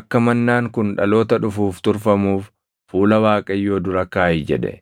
akka mannaan kun dhaloota dhufuuf turfamuuf fuula Waaqayyoo dura kaaʼi” jedhe.